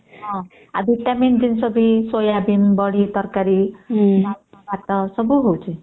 ହଁ ଆଉ ଭିଟାମିନ ଜିନିଷ ବି ସୋୟାବିନ ବଡି ତରକାରୀ ଡାଲ୍ମା ଭାତ ସବୁ ହଉଚି